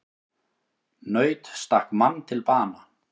Naut stakk mann til bana